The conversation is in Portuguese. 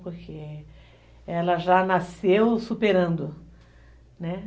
Porque ela já nasceu superando, né?